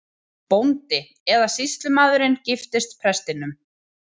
BÓNDI: Eða sýslumaðurinn giftist prestinum!